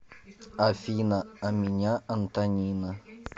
афина а меня антонина